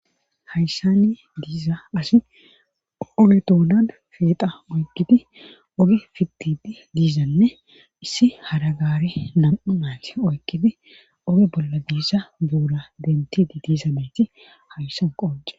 Hayssanni diiza asi oge doonan feexa oykkiti oge fitit diizanne issi haragaare nam'u maati oykkiti oge bolla diisa boola dentidi diizameti hayssan qoce.